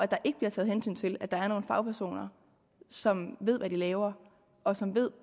der ikke bliver taget hensyn til at der er nogle fagpersoner som ved hvad de laver og som ved